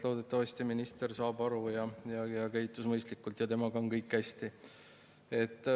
Loodetavasti minister saab sellest aru, käitub mõistlikult ja temaga on kõik hästi.